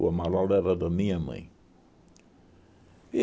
O Amaral era da minha mãe. E